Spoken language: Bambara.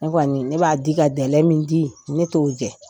Ne kɔni ne b'a di ka min di, ne t'o jɛ.